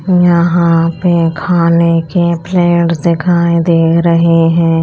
यहाँ पे खाने के प्लेट्स दिखाई दे रहे हैं।